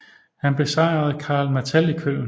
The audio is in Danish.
Han besejrede Karl Martell i Köln